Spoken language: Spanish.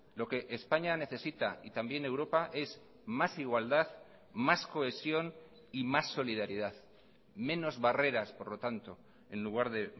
lo que españa necesita y también europa es más igualdad más cohesión y más solidaridad menos barreras por lo tanto en lugar de